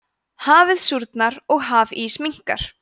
hafið súrnar og hafís minnkar